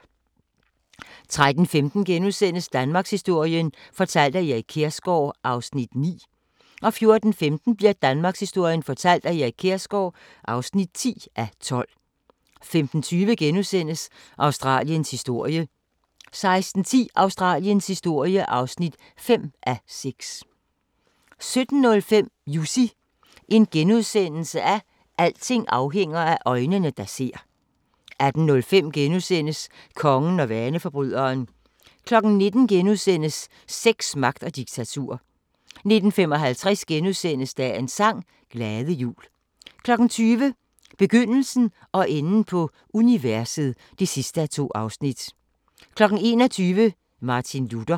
13:15: Danmarkshistorien fortalt af Erik Kjersgaard (9:12)* 14:15: Danmarkshistorien fortalt af Erik Kjersgaard (10:12) 15:20: Australiens historie (4:6)* 16:10: Australiens historie (5:6) 17:05: Jussi – alting afhænger af øjnene, der ser * 18:05: Kongen og vaneforbryderen * 19:00: Sex, magt og diktatur * 19:55: Dagens sang: Glade jul * 20:00: Begyndelsen og enden på universet (2:2) 21:00: Martin Luther